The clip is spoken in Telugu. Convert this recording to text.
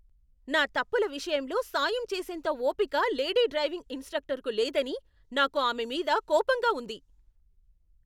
నా తప్పుల విషయంలో సాయం చేసేంత ఓపిక లేడీ డ్రైవింగ్ ఇన్స్ట్రక్టర్కు లేదని నాకు ఆమె మీద కోపంగా ఉంది.